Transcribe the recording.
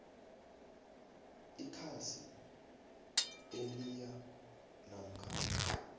ikhasi eliyia namkha